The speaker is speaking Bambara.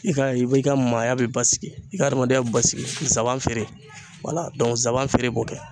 I ka i be i ka maaya be basigi, i ka adamadenya basigi zaban feere wala zaban feere b'o kɛ.